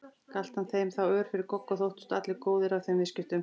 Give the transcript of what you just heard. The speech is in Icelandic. Galt hann þeim þá ör fyrir gogg og þóttust allir góðir af þeim viðskiptum.